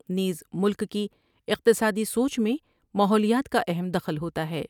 نیز ملک کی اقتصادی سوچ میں ماحولیات کا اہم دخل ہوتا ہے ۔